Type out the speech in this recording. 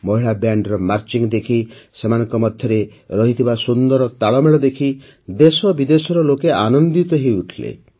ମହିଳା ବ୍ୟାଣ୍ଡର ମାର୍ଚ୍ଚ ଦେଖି ସେମାନଙ୍କ ମଧ୍ୟରେ ରହିଥିବା ସୁନ୍ଦର ତାଳମେଳ ଦେଖି ଦେଶବିଦେଶର ଲୋକେ ଆନନ୍ଦିତ ହୋଇ ଉଠିଲେ